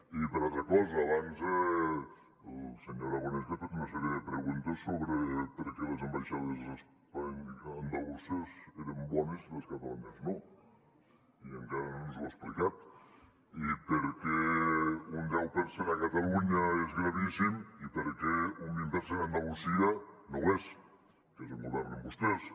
i una altra cosa abans la senyora bonet li ha fet una sèrie de preguntes sobre per què les ambaixades andaluses eren bones i les catalanes no i encara no ens ho ha explicat i per què un deu per cent a catalunya és gravíssim i per què un vint per cent a andalusia no ho és que és on governen vostès